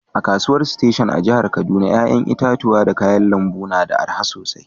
A'kasuwan station a'jihar Kaduna yayan itatuwa da kayan lambu na da araha sosai.